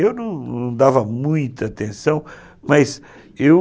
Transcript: Eu não não dava muita atenção, mas eu...